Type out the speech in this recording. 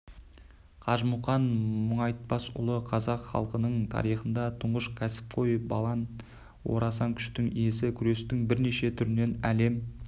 қажы мұқан мұңайтпасұлы қазақ халқының тарихындағы тұңғыш кәсіпқой балан орасан күштің иесі күрестің бірнеше түрінен әлем